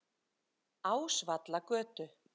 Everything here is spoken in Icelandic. Ásvallagötu